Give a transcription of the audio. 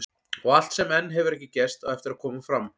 Og allt sem enn hefur ekki gerst, á eftir að koma fram.